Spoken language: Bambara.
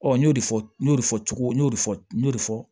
Ɔ n y'o de fɔ n y'o de fɔ cogo n y'o de fɔ n y'o de fɔ